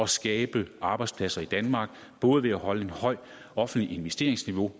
skabe arbejdspladser i danmark både ved at holde et højt offentligt investeringsniveau